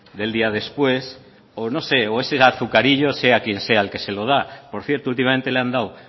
del día después o no sé o ese azucarillo sea quien sea el que se lo da por cierto últimamente le han dado